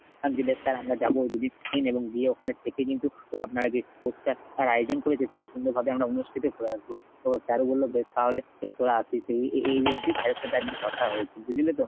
যে বেশ sir আমরা যাব দুদিন এবং গিয়ে ওখানে থেকে কিন্তু আপনারা যে sports টার আয়োজন করেছেন সেটা সুন্দর ভাবে আমরা অনুষ্ঠিত করে আসবো। তা sir ও বলল বেশ তাহলে তোরা আসিস এই এ~ এই অব্দি sir এর সাথে আর কি কথা হয়েছে বুঝলি তো?